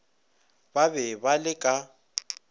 ba be ba le ka